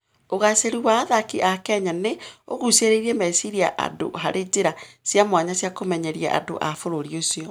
Ũgaacĩru wa athaki a Kenya nĩ ũgucĩrĩirie meciria andũ harĩ njĩra cia mwanya cia kũmenyeria andũ a bũrũri ũcio.